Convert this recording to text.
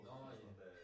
Nåh ja